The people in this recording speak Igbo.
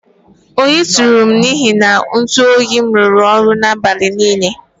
Oyi tụrụm n'ihi na ntụ oyim rụrụ ọrụ n'abalị niile